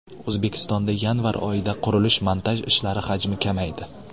O‘zbekistonda yanvar oyida qurilish-montaj ishlari hajmi kamaydi.